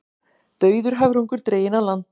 Dauður höfrungur dreginn á land